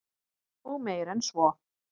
Og meir en svo.